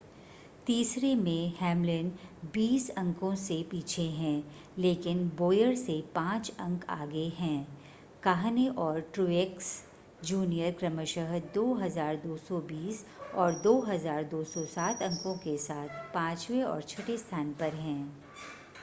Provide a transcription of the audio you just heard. तीसरे में हैमलिन बीस अंकों से पीछे हैं लेकिन बोयर से पांच अंक आगे हैं काहने और ट्रूएक्स जूनियर क्रमशः 2,220 और 2,207 अंकों के साथ पांचवें और छठे स्थान पर हैं